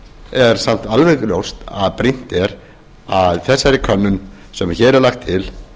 er samt alveg ljóst að brýnt er að þessari könnun sem hér er lögð til